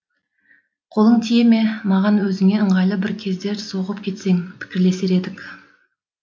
қолың тие ме маған өзіңе ыңғайлы бір кезде соғып кетсең пікірлесер едік